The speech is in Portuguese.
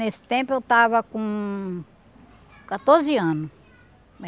Nesse tempo eu estava com quatorze anos.